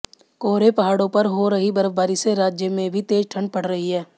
कोहरे पहाड़ों पर हो रही बर्फबारी से राज्य में भी तेज ठंड पड़ रही है